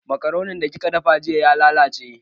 Makaroni da kika dafa jiya ya lallace